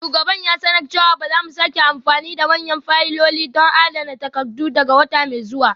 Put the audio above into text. Shugaban ya sanar da cewa ba za mu sake amfani da manyan fayiloli don adana takardu daga wata mai zuwa ba.